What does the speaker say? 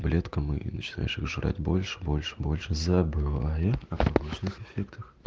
таблетка моей начинающих жрать больше больше больше забывает о побочных эффектов